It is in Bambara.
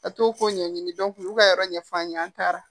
A t'o ko ɲɛɲini olu ka yɔrɔ ɲɛf'an ye an taara